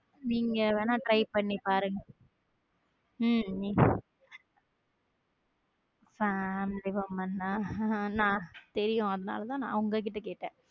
நீங்க வேணா try பண்ணி பாருங்க உம் family தெரியும் அதனாலதான் நான் உங்ககிட்ட கேட்டேன்